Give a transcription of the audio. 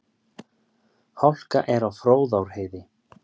Hálka er á Fróðárheiði